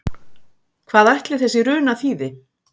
Hvað ætli þessi runa þýði?